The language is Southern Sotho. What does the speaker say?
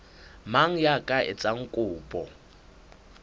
mang ya ka etsang kopo